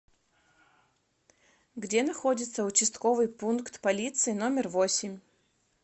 где находится участковый пункт полиции номер восемь